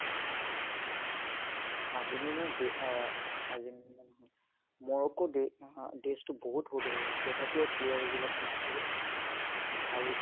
Argentina দে অ Argentina নহয় মৰক্কো দে নহয় desh টো বহুত সৰু হয় তথাপিও playersবিলাক মানে বহুত ভাল